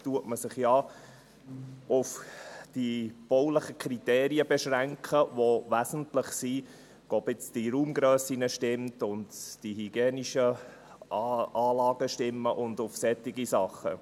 Oft beschränkt man sich auf die baulichen Kriterien, bei denen wesentlich ist, ob die Raumgrössen und die hygienischen Anlagen stimmen, und auf solche Dinge.